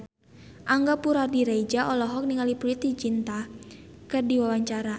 Angga Puradiredja olohok ningali Preity Zinta keur diwawancara